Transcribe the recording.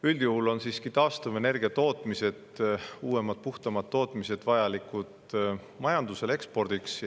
Üldjuhul on taastuvenergia tootmised, uuemad ja puhtamad tootmised, vajalikud majandusele ekspordiks.